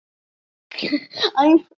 Hvernig kviknaði þessi hugmynd?